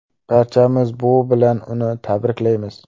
Barchamiz bu bilan uni tabriklaymiz.